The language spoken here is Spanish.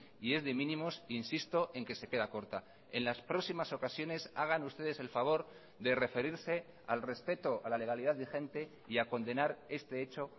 y es de mínimos insisto en que se queda corta en las próximas ocasiones hagan ustedes el favor de referirse al respeto a la legalidad vigente y a condenar este hecho